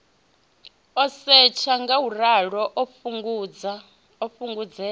u setsha ngauralo u fhungudzea